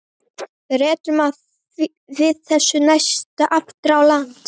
Rerum við þessu næst aftur í land.